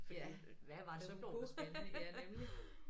Fordi hvad var det som var spændende ja nemlig